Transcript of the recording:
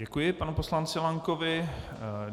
Děkuji panu poslanci Lankovi.